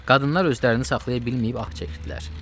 Qadınlar özlərini saxlaya bilməyib ax çəkdilər.